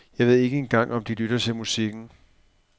Jeg ved ikke engang om de lytter til musikken.